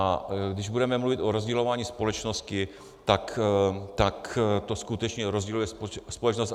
A když budeme mluvit o rozdělování společnosti, tak to skutečně rozděluje společnost.